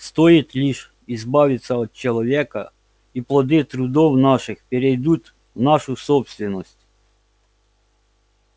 стоит лишь избавиться от человека и плоды трудов наших перейдут в нашу собственность